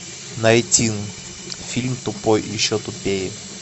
найти фильм тупой и еще тупее